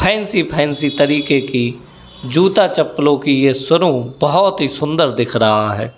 Fancy fancy तरीके की जूता चप्पलो की ये शोरूम बहोत ही सुंदर दिख रहा है।